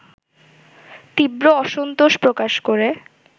তীব্র অসন্তোষ প্রকাশ করে